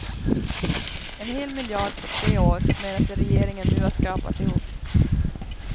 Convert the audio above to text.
En hel miljard på tre år menar sig regeringen nu ha skrapat ihop.